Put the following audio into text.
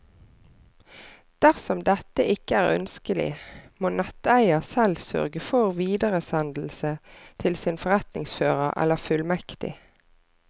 Dersom dette ikke er ønskelig, må netteier selv sørge for videresendelse til sin forretningsfører eller fullmektig.